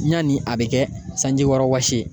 Yani a bɛ kɛ sanjikɔrɔwɔsi see